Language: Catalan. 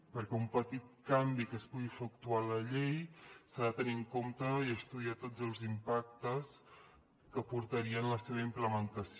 perquè d’un petit canvi que es pugui efectuar a la llei s’ha de tenir en compte i estudiar tots els impactes que portarien la seva implementació